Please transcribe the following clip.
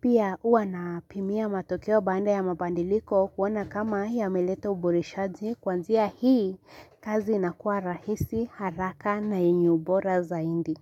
Pia huwa napimia matokeo baanda ya mabandiliko kuona kama yameleta uboreshaji kwanzia hii kazi inakuwa rahisi haraka na yenya ubora zaindi.